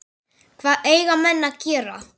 Hvað eiga menn að gera?